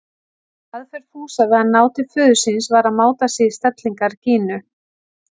Aðferð Fúsa við að ná til föður síns var að máta sig í stellingar Gínu.